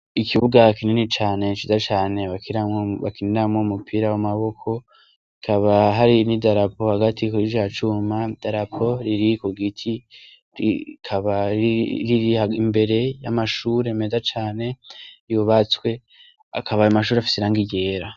Ikibuga kinini cane ciza cane bakiniramwo umupira w'amaboko, hakaba hari n'idarapo hagati kurica cuma, idarapo riri ku giti ikaba riri imbere y'amashuri meza cane yubatswe akaba ayo mashuri afise irangi ryera.